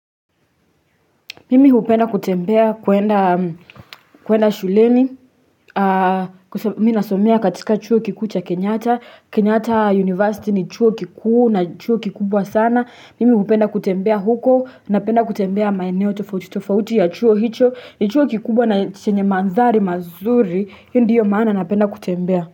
Mimi hupenda kutembea kuenda shuleni, mi nasomea katika chuo kiku cha kenyatta, kenyatta university ni chuo kikuu na chuo kikubwa sana, mimi hupenda kutembea huko na penda kutembea maeneo tofauti, tofauti ya chuo hicho, ni chuo kikubwa na chenye mandhari mazuri, hiyo ndiyo maana napenda kutembea.